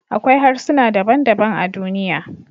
Akwai harsuna daban-daban a duniya